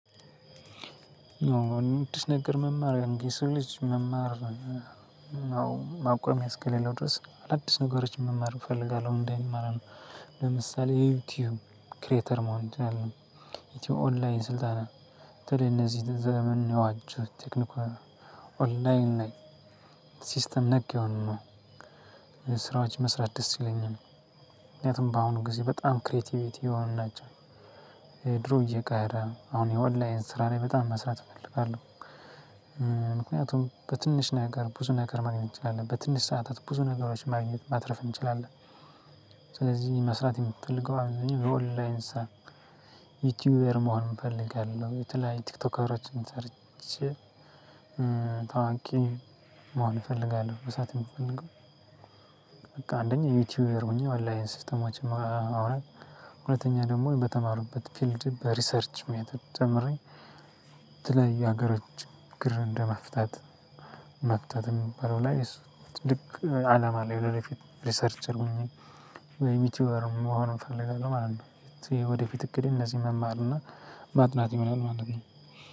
አዲስ ነገር መማር አንደ ሰው ልጅ መማር። አዎ ማቆሚያ እስከሌለው ድረስ አዳዲስ ነገሮችን መማር እፈልጋለሁ እንድማረው። ለምሳሌ ዩቲዩብ ክሬተር መሆን እንችላለን ኢትዮ ኦንላይን ስልጠና። በተለይ እነዚህን ዘመኑን የዋጀ ቴክኒካል ኦንላይን ላይ ሲስተም ነክ ይሆኑ። ስራዎች መስራት ደስ ይለኛል። ምክንያቱም በአሁኑ ጊዜ በጣም ክሬቲቪቲ የሆኑ ናቸው። ድሮ እየቀረ አሁን የኦላይን ስራ ላይ በጣም መስራት እፈልጋለሁ። ምክንያቱም በትንሽ ነገር ብዙ ነገር ማግኘት ትችላለህ በትንሽ ሰዓታት ብዙ ነገሮች ማግኘት ማትረፍ እንችላለን። ስለዚህ መስራት የምፈልገው አሁን እኔ የኦንላይን ስራ ዩቱዩበር መሆን እፈልጋለሁ። የተለያየ ቲክቶከሮችን ሰርቼ ታዋቂ መሆን እፈልጋለሁ። መስራት የምፈልገው። በቃ አንደኛ ዩቲዩበር ሆኜ አላይን ሲስተማችን ሲስተሞችም አሁን ሁለተኛ ደግሞ በተማርኩበት ፊልድ በሪሰርች ሜተድ ተምሬ። የሀገሮች ችግር እንደመፍታት መፍታት የሚባለው ላይ እሱ ትልቅ አላማ አለኝ። ወደፊት ሪሰርቸር ሆኜ ወይም ዩቲዩበር መሆኑን እፈልጋለሁ ማለት ነው። ወደፊት እቅዴ እነዚህ መማርና ማጥናት ይሆናል ማለት ነው።